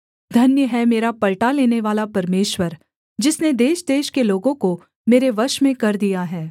धन्य है मेरा पलटा लेनेवाला परमेश्वर जिसने देशदेश के लोगों को मेरे वश में कर दिया है